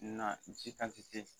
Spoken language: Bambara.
Na ji kantite